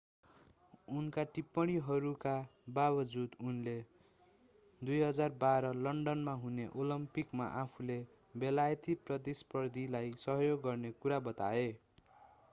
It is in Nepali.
उनका टिप्पणीहरूका बाबजुद उनले 2012 लन्डनमा हुने ओलम्पिकमा आफूले बेलायती प्रतिस्पर्धीलाई सहयोग गर्ने कुरा बताए